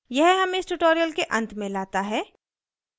यह हमें इस tutorial के अंत में लाता है